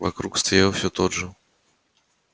вокруг стоял всё тот же